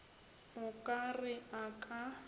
o ka re a ka